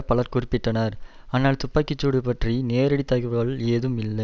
பலர் குறிப்பிட்டனர் ஆனால் துப்பாக்கி சூடு பற்றி நேரடி தகவல் ஏதும் வில்லை